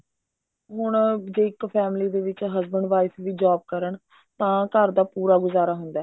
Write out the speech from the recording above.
ਹੁਣ ਜੇ ਇੱਕ family ਦੇ ਵਿੱਚ husband wife ਜੇ job ਕਰਨ ਤਾਂ ਘਰ ਦਾ ਪੂਰਾ ਗੁਜ਼ਾਰਾ ਹੁੰਦਾ